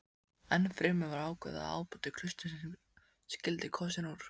Ennfremur var ákveðið að ábóti klaustursins skyldi kosinn úr